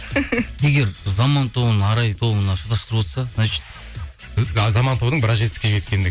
егер заман тобын арай тобына шатастырып отырса значит заман тобының біраз жетістікке